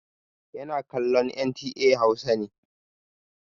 Yana kallon NTA Hausa ne.